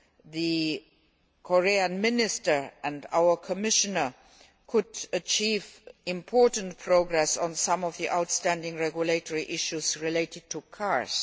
the Korean Minister and our Commissioner could achieve important progress on some of the outstanding regulatory issues related to cars.